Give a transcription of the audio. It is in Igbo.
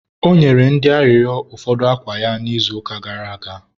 ọ nyere ndị arịrịọ ụfọdụ akwa ya n' izuụka gara aga